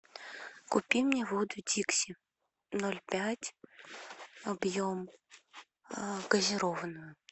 купи мне воду дикси ноль пять объем газированную